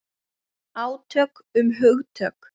Átök um hugtök.